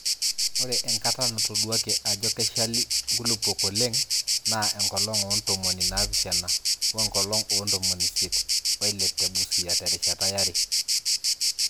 Ore enkata natoduaaki aajo keshali nkulupuok oleng naa enkolong oo ntomoni naapishana we nkolong oo ntomoni isiet oile te Busia terishata yare.